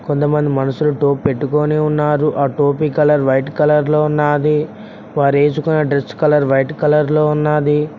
కొంతమంది మనుషులతో టోపీ పెట్టుకొని ఉన్నారు ఆ టోపీ కలర్ వైట్ కలర్ లో ఉన్నది వారు వేసుకున్న డ్రెస్ కలర్ వైట్ కలర్ లో ఉన్నది.